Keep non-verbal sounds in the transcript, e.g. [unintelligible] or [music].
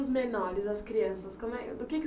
Os menores, as crianças, como é. [unintelligible]